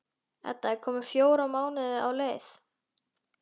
Edda er komin fjóra mánuði á leið.